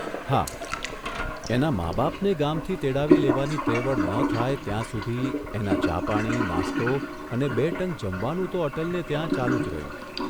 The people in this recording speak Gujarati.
હા, એનાં મા બાપને ગામથી તેડાવી લેવાની ત્રેવડ ન થાય ત્યાં સુધી એના ચા પાણી, નાસ્તો અને બે ટંક જમવાનું તો અટલને ત્યાં ચાલુ જ રહ્યું.